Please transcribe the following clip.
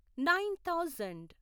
nine thousand